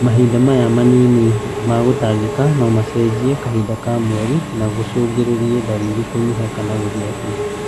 Mahinda maya manini ma gũtangĩka no macenjie kahinda ka mweri na gũcũngĩrĩrie ndariri kũnyiha kana gũthira biũ